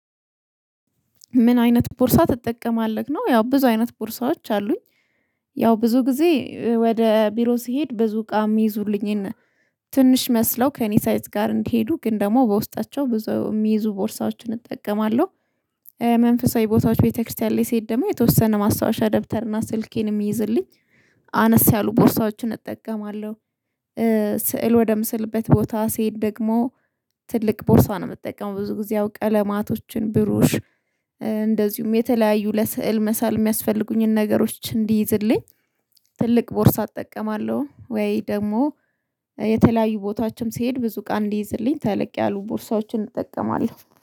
ምን አይነት ቦርሳ ትጠቀማለህ ነው? ያው ብዙ አይነት ቦርሳዎች አሉኝ ያው ብዙ ጊዜ ወደ ቢሮ ስሄድ ብዙ እቃ እሚይዙልኝን ትንሽ መስለው ከእኔ ሳይዝ ጋር እንዲሄዱ ግን ደግሞ በውስጣቸው ብዙ የሚይዙ ቦርሳዎችን እጠቀማለሁ። መንፈሳዊ ቦታዎች ቤተክርስቲያን ላይ ሲሄድ ደግሞ የተወሰነ ማስታወሻ ደብተር እና ስልኬን የሚይዝልኝ አነስ ያሉ ቦርሳችን እጠቀማለሁ። ስዕል ወደምስልበት ቦታ ሲሄድ ደግሞ ትልቅ ቦርሳ ነው እምትጠይቀው ብዙ ጊዜ ያው ቀለማቶችን ብሩሽ። እንደዚሁም የተለያዩ ለስዕል መሳል እሚያስፈልጉኝን ነገሮች እንዲይዝልኝ ትልቅ ቦርሳ እጠቀማለሁ። ወይ ደግሞ የተለያዩ ቦታዎችም ሲሄድ ብዙ እቃ እንዲይዝልኝ ተለቅ ያሉ ቦርሳዎችን እጠቀማለሁ